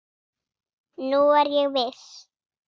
Nú er ég viss!